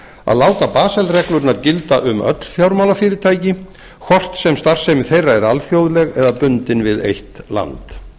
að láta basel reglurnar gilda um öll fjármálafyrirtæki hvort sem starfsemi þeirra er alþjóðleg eða bundin við eitt land